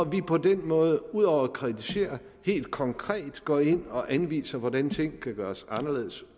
vi på den måde ud over at kritisere helt konkret går ind og anviser hvordan ting kan gøres anderledes